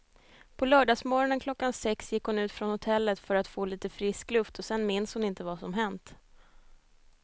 På lördagsmorgonen klockan sex gick hon ut från hotellet för att få lite frisk luft och sen minns hon inte vad som hänt.